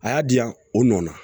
A y'a diyan o nɔ na